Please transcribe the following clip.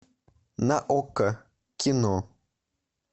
на окко кино